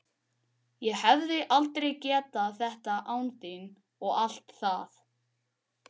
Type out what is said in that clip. Ég hefði aldrei getað þetta án þín og allt það.